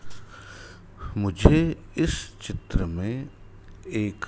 मुझे इस चित्र में एक--